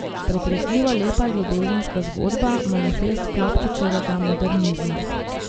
Pretresljivo lepa ljubezenska zgodba, manifest Klopčičevega modernizma.